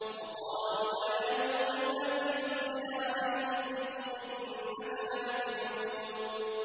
وَقَالُوا يَا أَيُّهَا الَّذِي نُزِّلَ عَلَيْهِ الذِّكْرُ إِنَّكَ لَمَجْنُونٌ